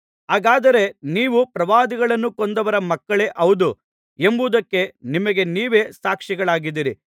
ಹಾಗಾದರೆ ನೀವು ಪ್ರವಾದಿಗಳನ್ನು ಕೊಂದವರ ಮಕ್ಕಳೇ ಹೌದು ಎಂಬುದಕ್ಕೆ ನಿಮಗೆ ನೀವೇ ಸಾಕ್ಷಿಗಳಾಗಿದ್ದೀರಿ